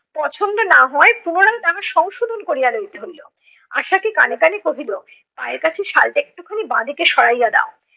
পছন্দ না হওয়ায় পুনরায় তাহা সংশোধন করিয়া লইতে হইলো। আশাকে কানে কানে কহিলো, পায়ের কাছে শালটা একটুখানি বাঁদিকে সরাইয়া দেও